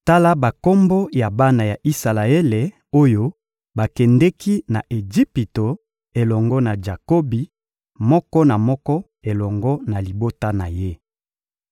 Tala bakombo ya bana ya Isalaele oyo bakendeki na Ejipito elongo na Jakobi, moko na moko elongo na libota na ye: